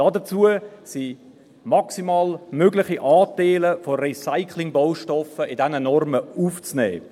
Dafür sind in diesen Normen maximal mögliche Anteile von Recyclingbaustoffen aufzunehmen.